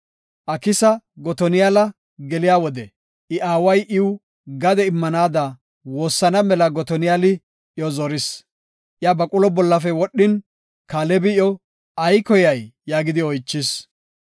Aksa Gotoniyala geliya wode I aaway iw gade immanaada woossana mela Gotoniyali iyo zoris. Iya baqulo bollafe wodhin, Kaalebi iyo, “Ay koyay?” yaagidi oychis.